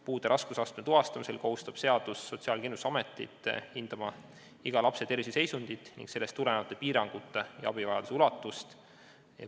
Puude raskusastme tuvastamisel kohustab seadus Sotsiaalkindlustusametit hindama iga lapse terviseseisundit ning sellest tulenevate piirangute ja abivajaduse ulatust.